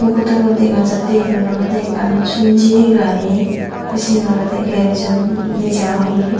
photo but dega jatte iben ole ekkan sum jeyi gari the sen olode garage or neja oyi.